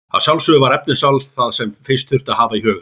Að sjálfsögðu var efnisval það sem fyrst þurfti að hafa í huga.